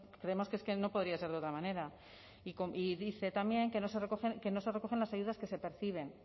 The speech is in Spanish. creemos que es que no podría ser de otra manera y dice también que no se recogen las ayudas que se perciben